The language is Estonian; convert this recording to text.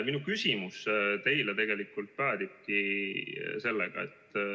Minu küsimus teile on selline.